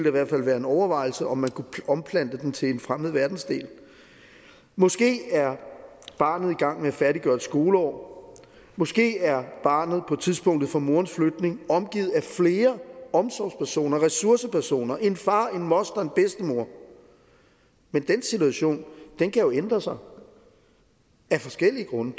i hvert fald være en overvejelse om man kunne omplante dem til en fremmed verdensdel måske er barnet i gang med at færdiggøre et skoleår måske er barnet på tidspunktet for morens flygtning omgivet af flere omsorgspersoner ressourcepersoner en far en moster en bedstemor men den situation kan jo ændre sig af forskellige grunde